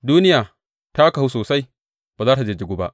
Duniya ta kahu sosai; ba za tă jijjigu ba.